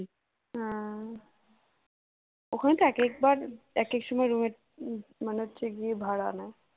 ওখানটায় একেকবার একেক সময় room র মানে হচ্ছে গিয়ে ভাড়া নেই